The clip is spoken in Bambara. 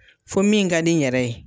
Fo min ka di n yɛrɛ ye